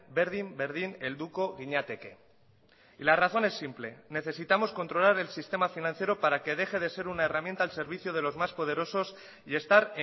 berdin berdin helduko ginateke y la razón es simple necesitamos controlar el sistema financiero para que deje de ser una herramienta al servicio de los más poderosos y estar